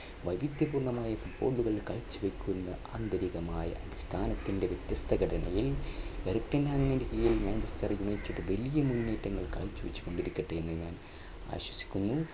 വൈവിധ്യപൂർണ്ണമായ football മുതൽ കാഴ്ചവയ്ക്കുന്ന ആന്തരികമായ അടിസ്ഥാനത്തിന്റെ വ്യത്യസ്ത ഘടനയെയും വലിയ മുന്നേറ്റങ്ങൾ കാഴ്ചവെച്ചു കൊണ്ടിരിക്കട്ടെ എന്ന് വിശ്വസിക്കുന്നു.